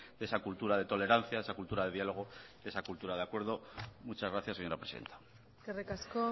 de esa cultura de tolerancia esa cultura de diálogo esa cultura de acuerdo muchas gracias señora presidenta eskerrik asko